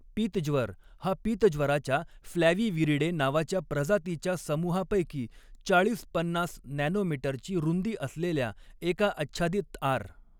पीतज्वर हा पीतज्वराच्या फ्लॅविविरिडे नावाच्या प्रजातीच्या समूहापैकी चाळीस पन्नास नॅनो मीटरची रुंदी असलेल्या एका आच्छादित आर.